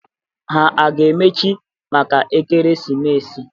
Ha a ga-emechi maka ekeresimesi?